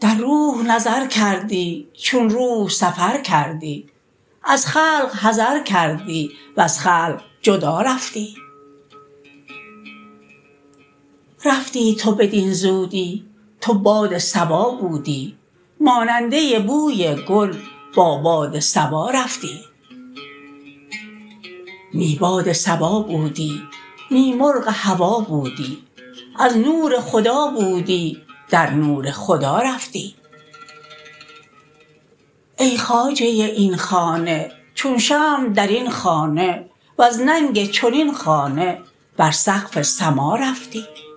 در روح نظر کردی چون روح سفر کردی از خلق حذر کردی وز خلق جدا رفتی رفتی تو بدین زودی تو باد صبا بودی ماننده بوی گل با باد صبا رفتی نی باد صبا بودی نی مرغ هوا بودی از نور خدا بودی در نور خدا رفتی ای خواجه این خانه چون شمع در این خانه وز ننگ چنین خانه بر سقف سما رفتی